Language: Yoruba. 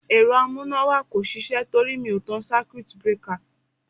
Ẹ̀rọ amúnáwá kò sisẹ́ torí mi ò tan circuit breaker.